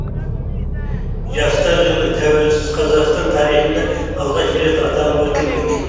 жастар жылы тәуелсіз қазақстан тарихында алғаш рет аталып өтілмек